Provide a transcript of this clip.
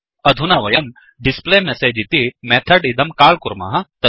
अधुना वयंdisplayMessageइति मेथड् इदं काल् कुर्मः